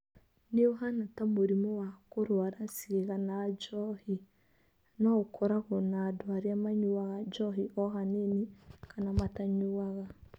Nĩ ũhaana ta mũrimũ wa kũrũara ciĩga na njohi, no ũkoragwo na andũ arĩa manyuaga njohi o hanini kana matanyuaga.